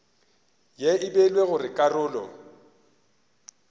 ye e beilwego go karolo